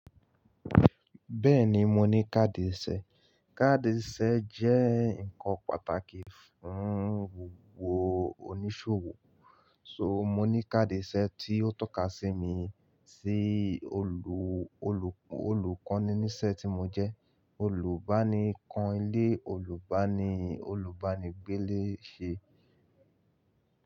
Bẹ́ẹ̀ni, mo ní káàdì ìṣe. Káàdì ìṣe jẹ́ ǹkan pàtàkì fún gbogbo oníṣòwò, so mo ní káàdì ìṣe tí ó tọ́ka sí mi. Sí olùkọ́ní níṣe tí mo jẹ́, olùbánikán ilé olùbánì, olùbánigbé léṣe.